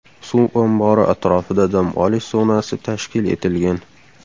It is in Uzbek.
Suv ombori atrofida dam olish zonasi tashkil etilgan.